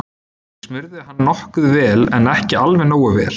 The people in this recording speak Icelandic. Ég smurði hann nokkuð vel en ekki alveg nógu vel.